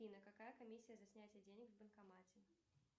афина какая комиссия за снятие денег в банкомате